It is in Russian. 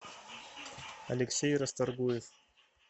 алексей расторгуев